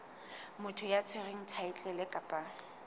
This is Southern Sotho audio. motho ya tshwereng thaetlele kapa